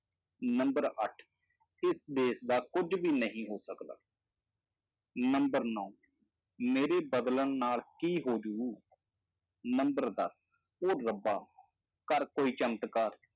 Number ਅੱਠ ਇਸ ਦੇਸ ਦਾ ਕੁੱਝ ਵੀ ਨਹੀਂ ਹੋ ਸਕਦਾ number ਨੋਂ ਮੇਰੇ ਬਦਲਣ ਨਾਲ ਕੀ ਹੋ ਜਾਊ number ਦਸ ਉਹ ਰੱਬਾ ਕਰ ਕੋਈ ਚਮਤਕਾਰ।